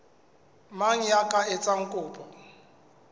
mang ya ka etsang kopo